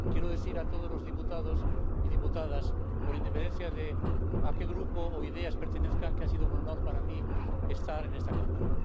Quiero decir a todos los diputados y diputadas, con independencia de a qué grupo o ideas pertenezcan, que ha sido un honor para mí estar en esta Cámara.